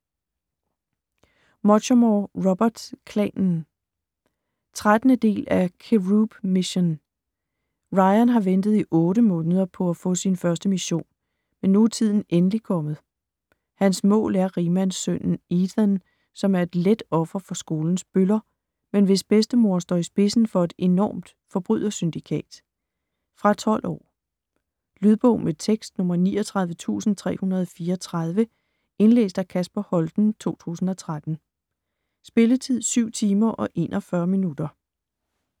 Muchamore, Robert: Klanen 13. del af Cherub Mission. Ryan har ventet i 8 måneder på at få sin første mission, men nu er tiden endelig kommet. Hans mål er rigmandssønnen Ethan, som er et let offer for skolen bøller, men hvis bedstemor står i spidsen for et enormt forbrydersyndikat. Fra 12 år. Lydbog med tekst 39334 Indlæst af Kasper Holten, 2013. Spilletid: 7 timer, 41 minutter.